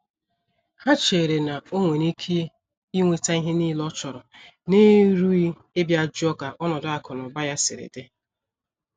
Ha chere na onwere Ike inweta ihe niile ọchọrọ n'erughị ịbịa jụọ ka ọnọdụ akụ na ụba ya siri di.